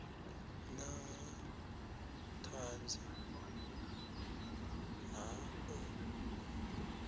na ha ṱhanzi ha ḓo